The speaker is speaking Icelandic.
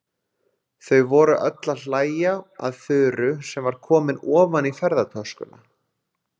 Þau voru öll að hlæja að Þuru sem var komin ofan í ferðatöskuna.